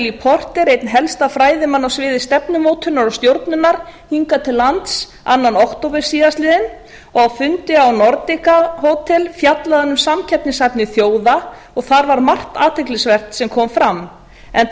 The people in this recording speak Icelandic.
fá m porter einn helsta fræðimann á sviði stefnumótunar og stjórnunar hingað til lands annar október síðastliðinn og á fundi a nordica hótel var fjallað um samkeppnishæfni þjóða og þar var margt athyglisvert sem kom fram enda